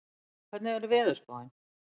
Kíran, hvernig er veðurspáin?